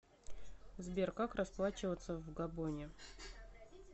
сбер как расплачиваться в габоне